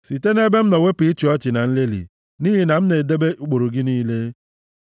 Site nʼebe m nọ wepụ ịchị ọchị na nlelị, nʼihi na m na-edebe ụkpụrụ gị niile.